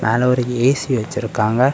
மேல ஒரு ஏ_சி வச்சிருக்காங்க.